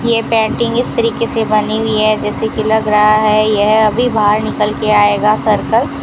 ये पेंटिंग इस तरीके से बनी हुई है जैसे कि लग रहा है यह अभी बाहर निकल के आएगा सर्कल --